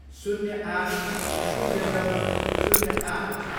शून्य आठ, शून्य नौ, शून्य आठ